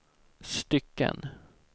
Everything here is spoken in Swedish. stycken